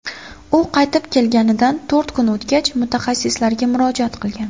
U qaytib kelganidan to‘rt kun o‘tgach, mutaxassislarga murojaat qilgan.